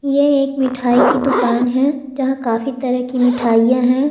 ये एक मिठाई की दुकान है जहां काफी तरह की मिठाईयां है।